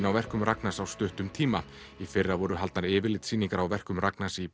á verkum Ragnars á stuttum tíma í fyrra voru haldnar yfirlitssýningar á verkum Ragnars í